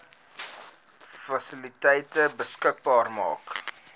fasiliteite beskikbaar maak